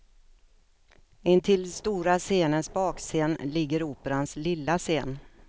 Intill stora scenens bakscen ligger operans lilla scen.